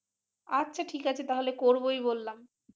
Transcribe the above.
আচ্ছা ঠিক আছে তাহলে করবোই বললাম ।